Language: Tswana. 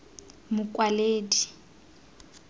mokwaledi